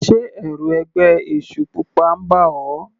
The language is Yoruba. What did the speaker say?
Sé ẹ̀rù ẹgbẹ́ èṣù pupa ń bà ọ́.